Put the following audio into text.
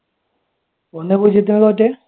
ഒന്നേ പൂജ്യത്തിനാ തോറ്റേ?